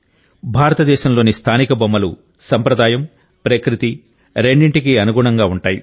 భారతదేశంలోని స్థానిక బొమ్మలు సంప్రదాయం ప్రకృతి రెండింటికీ అనుగుణంగా ఉంటాయి